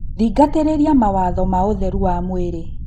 Thingatĩrĩrĩa mawatho ma ũtherũ wa mwĩrĩ